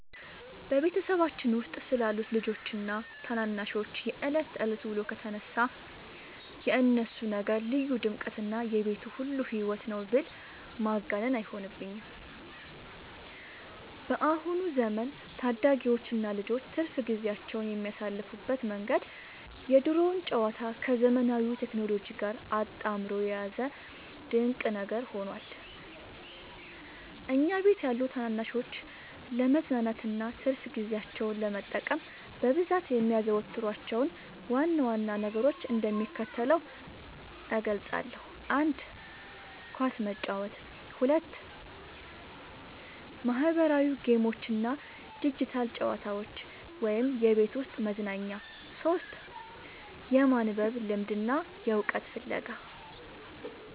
በቤተሰባችን ውስጥ ስላሉት ልጆችና ታናናሾች የዕለት ተዕለት ውሎ ከተነሳ፣ የእነሱ ነገር ልዩ ድምቀትና የቤቱ ሁሉ ሕይወት ነው ብል ማጋነን አይሆንብኝም። በአሁኑ ዘመን ታዳጊዎችና ልጆች ትርፍ ጊዜያቸውን የሚያሳልፉበት መንገድ የድሮውን ጨዋታ ከዘመናዊው ቴክኖሎጂ ጋር አጣምሮ የያዘ ድንቅ ነገር ሆኗል። እኛ ቤት ያሉ ታናናሾች ለመዝናናትና ትርፍ ጊዜያቸውን ለመጠቀም በብዛት የሚያዘወትሯቸውን ዋና ዋና ነገሮች እንደሚከተለው እገልጻለሁ፦ 1. ኳስ መጫወት 2. ማኅበራዊ ጌሞችና ዲጂታል ጨዋታዎች (የቤት ውስጥ መዝናኛ) 3. የማንበብ ልምድና የዕውቀት ፍለጋ